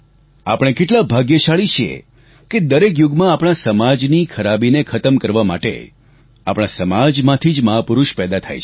આપણે કેટલા ભાગ્યશાળી છીએ કે દરેક યુગમાં આપણા સમાજની ખરાબીને ખતમ કરવા માટે આપણા સમાજમાંથી જ મહાપુરુષ પેદા થાય છે